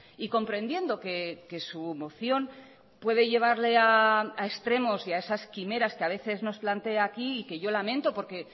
y comprendiendo que su moción puede llevarle a extremos y a esas quimeras que ha veces nos plantea aquí y que yo lamento porque